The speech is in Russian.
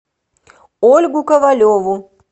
ольгу ковалеву